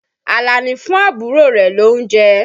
Àlàní fún àbúrò rẹ̀ lóunjẹ.